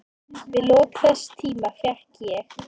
Við lok þess tíma fékk ég